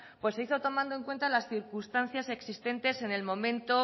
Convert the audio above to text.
pues se hizo tomando en cuenta las circunstancias existentes en el momento